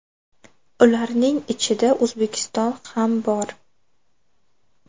Ularning ichida O‘zbekiston ham bor.